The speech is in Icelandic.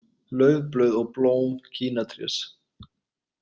Laufblöð og blóm kínatrés.